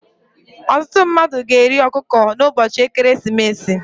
ọtụtụ mmadụ ga-eri ọkụkọ n'ụbọchị ekeresimesi